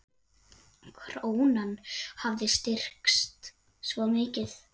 Krónan hafi styrkst svo mikið.